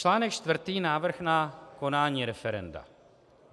Článek čtvrtý, návrh na konání referenda.